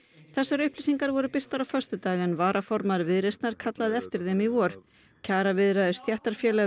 þessar upplýsingar voru birtar á föstudag en varaformaður Viðreisnar kallaði eftir þeim í vor kjaraviðræður stéttarfélaga